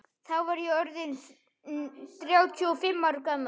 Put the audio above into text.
Þá var ég orð inn þrjátíu og fimm ára gamall.